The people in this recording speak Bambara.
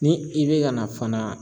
Ni i bɛ ka na fana